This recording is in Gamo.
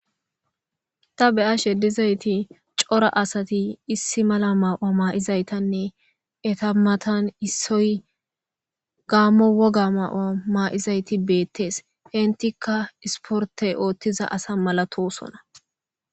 ta beya sheddizayti cora asati issi mala maawa maa7izaytanne eta matan issoy gaammo woga maa7wa maa7izayti beettees intika isportey oothtiza asa malatosona